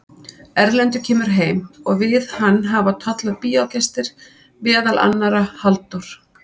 Erlendur kemur heim og við hann hafa tollað bíógestir, meðal annarra Halldór